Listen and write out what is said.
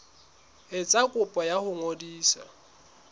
etsa kopo ya ho ngodisa